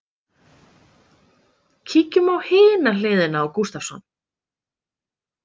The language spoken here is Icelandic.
Kíkjum á hina hliðina á Gustavsson.